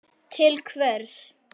til hvers.